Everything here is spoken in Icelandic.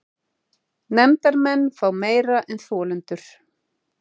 Nefndarmenn fá meira en þolendur